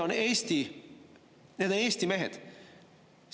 Need on Eesti mehed.